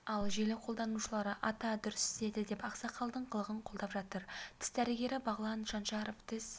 ал желі қолданушылары ата дұрыс істеді деп ақсақалдың қылығын қолдап жатыр тіс дәрігері бағлан шаншаров тіс